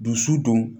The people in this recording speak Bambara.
Dusu dun